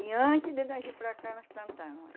E antes de nós vir para cá, nós plantamos.